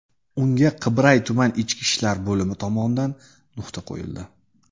Unga Qibray tuman ichki ishlar bo‘limi tomonidan nuqta qo‘yildi.